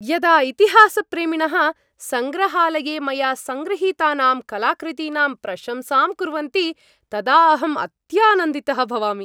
यदा इतिहासप्रेमिणः सङ्ग्रहालये मया सङ्गृहीतानाम् कलाकृतीनां प्रशंसां कुर्वन्ति तदाहम् अत्यानन्दितः भवामि।